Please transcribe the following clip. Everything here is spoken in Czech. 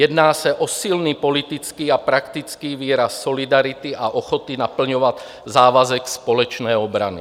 Jedná se o silný politický a praktický výraz solidarity a ochoty naplňovat závazek společné obrany.